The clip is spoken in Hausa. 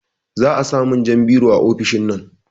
Za a samun jan biro a ofishinnan